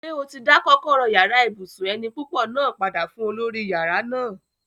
Ṣé o ti dá kọ́kọ́rọ́ yàrá ibùsùn eni púpọ̀ náà padà fún olórí yàrá náà?